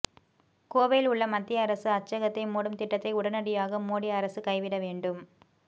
கோவையில் உள்ள மத்திய அரசு அச்சகத்தை மூடும் திட்டத்தை உடனடியாக மோடி அரசு கைவிட வேண்டும்